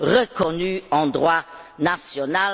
reconnus en droit national.